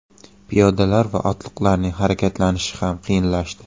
Piyodalar va otliqlarning harakatlanishi ham qiyinlashdi.